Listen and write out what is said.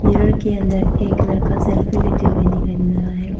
Mirror के अंदर एक लड़का सेल्फी लेते हुए दिखाई दे रहा है।